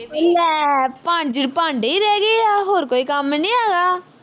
ਉਹ ਲੈ ਭਾਂਡੇ ਈ ਰਹਿ ਗਏ ਆ ਹੋਰ ਕੋਈ ਕੰਮ ਨੀ ਹੈਗਾ